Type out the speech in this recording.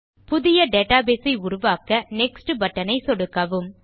புதிய டேட்டாபேஸ் ஐ உருவாக்க நெக்ஸ்ட் பட்டன் ஐ சொடுக்கவும்